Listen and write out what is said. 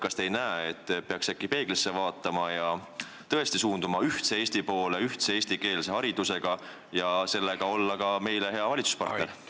Kas te ei arva, et peaks äkki peeglisse vaatama ja tõesti suunduma ühtse Eesti poole ühtse eestikeelse haridusega, et olla niimoodi ka meile hea valitsuspartner?